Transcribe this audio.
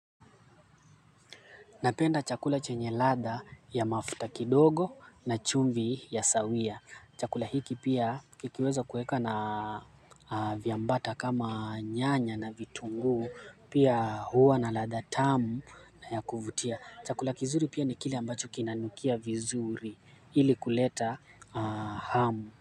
Napenda chakula chenye ladha ya mafuta kidogo na chumvi ya sawia. Chakula hiki pia kikiweza kuweka na viambata kama nyanya na vitungu pia huwa na ladha tamu na ya kuvutia. Chakula kizuri pia ni kile ambacho kinanukia vizuri ili kuleta hamu.